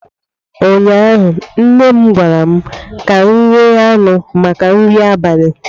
ụnyaahụ nne m gwara m ka m ghe anụ maka nri abalị